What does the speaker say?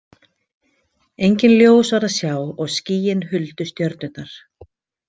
Engin ljós var að sjá og skýin huldu stjörnurnar.